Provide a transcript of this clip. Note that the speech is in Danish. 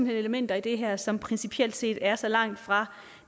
hen elementer i det her som principielt set er så langt fra